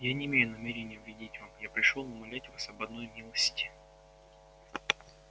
я не имею намерения вредить вам я пришёл умолять вас об одной милости